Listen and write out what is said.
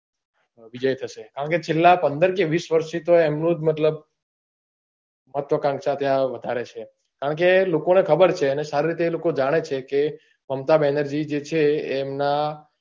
વિજય થશે કારણ કે છેલ્લા પંદર કે વીસ વર્ષ થી તો એમનો જ મતલબ ચર્ચા વધારે ત્યાં છે કારણ કે લોકો ને ખબર છે અને સારી રીતે એ લોકો જાણે છે કે મમતા બેનર્જી જે છે એમના